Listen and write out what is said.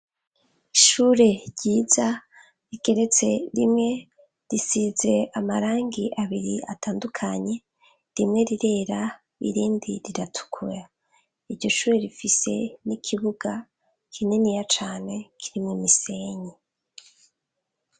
Ishure ryiza rigeretse rimwe, risize amarangi abiri atandukanye rimwe rirera irindi riratukura ,iryo shure rifise n'ikibuga kininiya cane kirimw 'imisenyi.